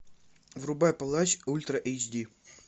врубай палач ультра эйч ди